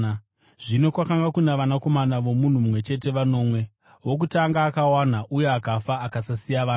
Zvino kwakanga kuna vanakomana vomunhu mumwe chete vanomwe. Wokutanga akawana uye akafa akasasiya vana.